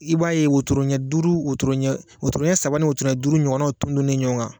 I b'a ye wotoro ɲɛ duuru wotoro ɲɛ wotoro ɲɛ saba ni wotoro ɲɛ duuru ton-tonnen ɲɔgɔn kan